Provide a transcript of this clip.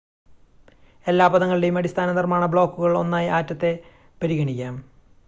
എല്ലാ പദാർത്ഥങ്ങളുടെയും അടിസ്ഥാന നിർമ്മാണ ബ്ലോക്കുകൾ ഒന്നായി ആറ്റത്തെ പരിഗണിക്കാം